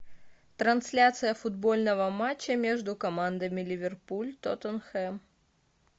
трансляция футбольного матча между командами ливерпуль тоттенхэм